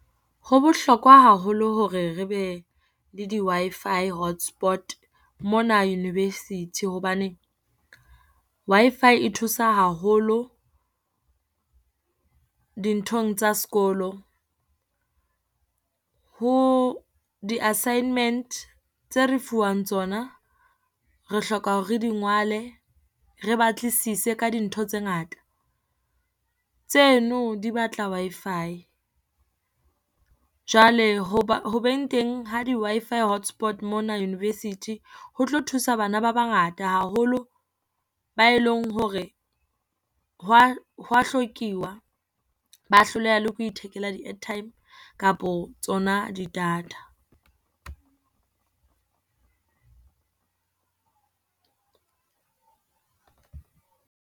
Ho bohlokwa haholo hore re be le di Wi-Fi hotspot mona University hobane, Wi-Fi e thusa haholo dinthong tsa sekolo. Ho di-assignment tse re fuwang tsona re hloka hore re di ngwale, re batlisise ka dintho tse ngata, tseno di batla Wi-Fi. Jwale hoba hobeng teng ha di-W-Fi hotspot mona University ho tlo thusa bana ba bangata haholo ba e leng hore ho wa, ho wa hlokiwa ba hloleha le ko ithekela di-airtime kapo tsona di-data.